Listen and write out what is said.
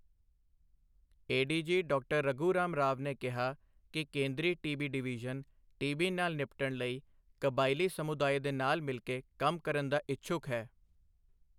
ADG ਡਾ. ਰਘੂਰਾਮ ਰਾਵ ਨੇ ਕਿਹਾ ਕਿ ਕੇਂਦਰੀ ਟੀਬੀ ਡਿਵੀਜਨ ਟੀਬੀ ਨਾਲ ਨਿਪਟਣ ਲਈ ਕਬਾਇਲੀ ਸਮੁਦਾਏ ਦੇ ਨਾਲ ਮਿਲਕੇ ਕੰਮ ਕਰਨ ਦਾ ਇਛੁੱਕ ਹੈ।